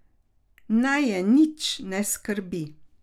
Naj je nič ne skrbi.